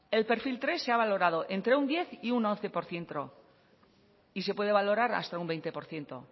el pe ele tres se ha valorado entre un diez y un once por ciento y se puede valorar hasta un veinte por ciento